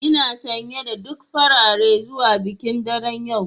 Ina sanye da duk farare zuwa bikin daren yau